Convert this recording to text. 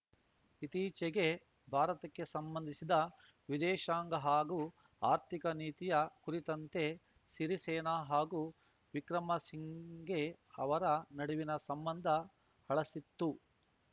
ಇತ್ತೀಚೆಗೆ ಭಾರತಕ್ಕೆ ಸಂಬಂಧಿಸಿದ ವಿದೇಶಾಂಗ ಹಾಗೂ ಆರ್ಥಿಕ ನೀತಿಯ ಕುರಿತಂತೆ ಸಿರಿಸೇನ ಹಾಗೂ ವಿಕ್ರಮಸಿಂಘೆ ಅವರ ನಡುವಿನ ಸಂಬಂಧ ಹಳಸಿತ್ತು